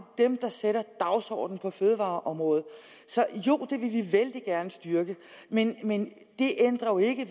dem der sætter dagsordenen på fødevareområdet jo det vil vi vældig gerne styrke men men det ændrer jo ikke